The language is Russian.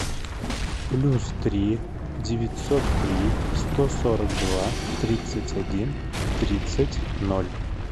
плюс три девятьсот три сто сорок два тридцать один тридцать ноль